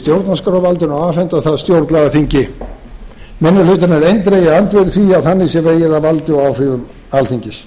og afhenda það stjórnlagaþingi minni hlutinn er eindregið andvígur því að þannig sé vegið að valdi og áhrifum alþingis